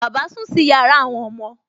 Bàbá sùn sí yàrá àwọn ọmọ